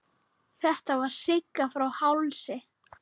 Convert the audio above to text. Þetta var Sigga frá Hálsi.